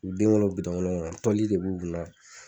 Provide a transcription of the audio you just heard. U den ŋɔl'o bitɔn ŋolo ŋɔnɔ tɔli de b'u kun na